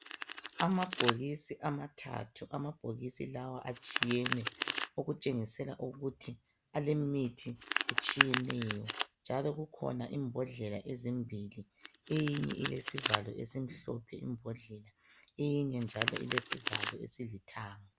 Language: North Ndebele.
Amabhokisi amathathu, amabhokisi lawa atshiyene okutshengisela ukuthi alemithi etshiyeneyo, njalo kukhona imbondlela ezimbili eyinye ilesivalo esimhlophe imbondlela eyinye njalo ilesivalo esilithanga.